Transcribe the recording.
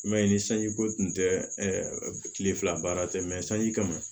I m'a ye ni sanji ko tun tɛ ɛ tile fila baara tɛ sanji kama